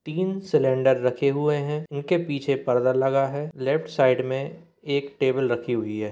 तीन सिलेंडर रखे हुए हैं इनके पीछे पर्दा लगा है लेफ्ट साइड मे एक टेबल रखी हुई है।